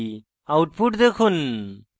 output দেখুন